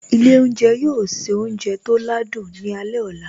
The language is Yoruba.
Ilé oúnjẹ yóò se oúnjẹ tó ládùn ní alẹ́ ọ̀la